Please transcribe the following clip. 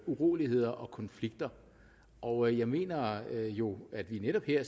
uroligheder og konflikter og jeg mener jo at vi netop her